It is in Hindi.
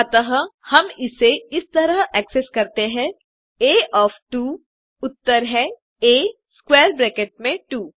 अतः हम इसे इस तरह एक्सेस करते हैं आ ओएफ 2 उत्तर है आ स्क्वैर ब्रैकेट में 2